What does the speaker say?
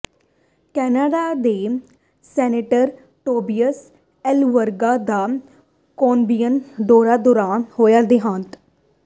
Canada ਦੇ senator Tobias Enverga ਦਾ Colombia ਦੌਰੇ ਦੌਰਾਨ ਹੋਇਆ ਦਿਹਾਂਤ